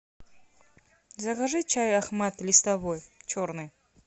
закажи чай ахмат листовой черный